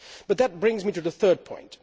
That brings me to the third point.